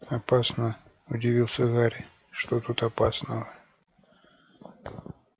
опасно удивился гарри что тут опасного